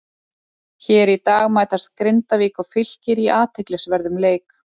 Hér í dag mætast Grindavík og Fylkir í athyglisverðum leik.